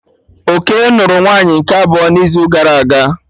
Okey nụrụ nwunye nke abụọ n'izu gara aga